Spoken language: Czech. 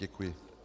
Děkuji.